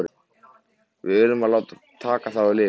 Við urðum að láta taka þá af lífi.